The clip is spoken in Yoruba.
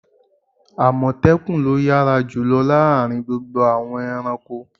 Àmọ̀tẹ́kùn lo yára jùlọ láàárín gbogbo àwọn ẹranko.